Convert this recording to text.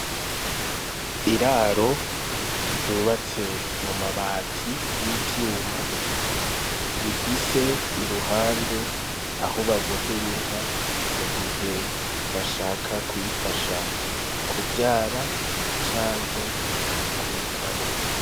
Iraro ryubatse mu mabati y'ivyuma, rifise iruhande aho babohera inka mu gihe bashaka kuyifasha kuvyara canke kuyikama.